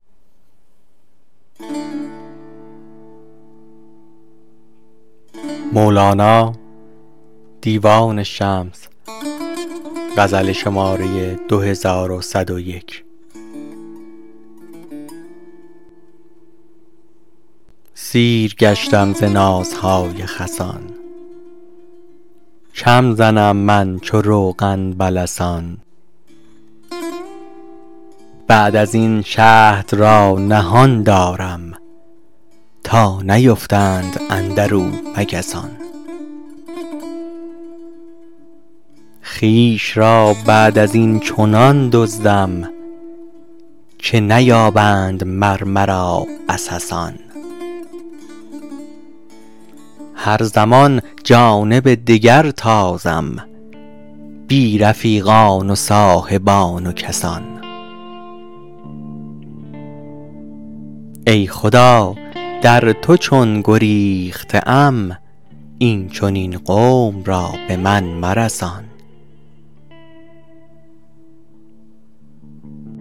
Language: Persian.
سیر گشتم ز نازهای خسان کم زنم من چو روغن به لسان بعد از این شهد را نهان دارم تا نیفتند اندر او مگسان خویش را بعد از این چنان دزدم که نیابند مر مرا عسسان هر زمان جانب دگر تازم بی رفیقان و صاحبان و کسان ای خدا در تو چون گریخته ام این چنین قوم را به من مرسان